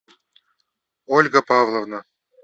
ольга павловна